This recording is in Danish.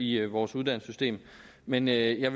i vores uddannelsessystem men jeg